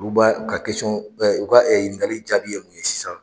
Olu ba u ka kɛsɔn u ka ɲiningali jaabi ye mun ye sisan?